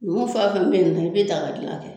Numu fɛn fɛn be yen nɔ i be daga gilan kɛ